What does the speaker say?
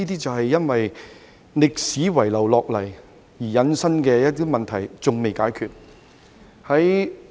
這是歷史遺留下來及引申而出的問題，至今尚未解決。